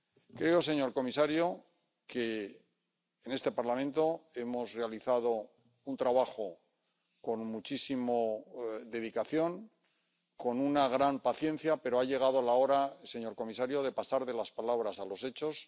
Creo, señor comisario, que en este Parlamento hemos realizado un trabajo con muchísima dedicación, con una gran paciencia, pero ha llegado la hora, señor comisario, de pasar de las palabras a los hechos.